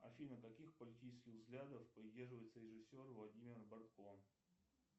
афина каких политических взглядов придерживается режиссер владимир бортко